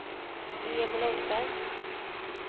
Emil Engberg